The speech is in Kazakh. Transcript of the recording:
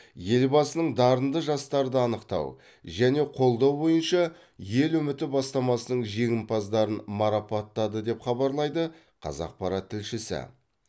елбасының дарынды жастарды анықтау және қолдау бойынша ел үміті бастамасының жеңімпаздарын марапаттады деп хабарлайды қазақпарат тілшісі